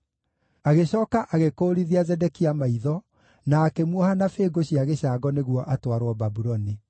Agĩcooka agĩkũũrithia Zedekia maitho na akĩmuoha na bĩngũ cia gĩcango nĩguo atwarwo Babuloni.